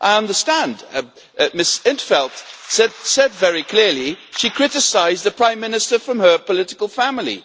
I understand Ms in t Veld said very clearly she criticised the prime minister from her political family.